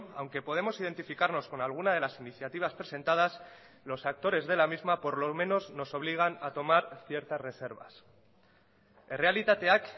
aunque podemos identificarnos con algunade las iniciativas presentadas los actores de la misma por lo menos nos obligan a tomar ciertas reservas errealitateak